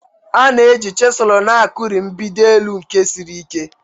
A na-eji chiselu na-akuri mgbidi elu nke siri ike